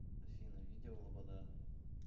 афина видео лобода